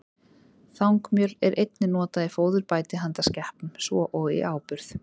Þangmjöl er einnig notað í fóðurbæti handa skepnum, svo og í áburð.